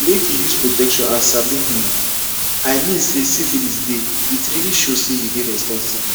make you use protection and sabi um i mean say syphilis deyit really show say you dey responsible